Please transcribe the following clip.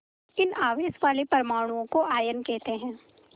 इन आवेश वाले परमाणुओं को आयन कहते हैं